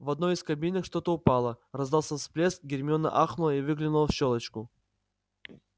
в одной из кабинок что-то упало раздался всплеск гермиона ахнула и выглянула в щёлочку